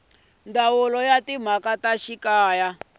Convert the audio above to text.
ndzawulo ya timhaka ta xikaya